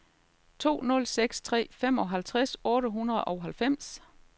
to nul seks tre femoghalvtreds otte hundrede og halvfems